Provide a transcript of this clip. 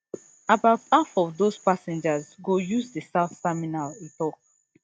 about half of those passengers go use di south terminal e tok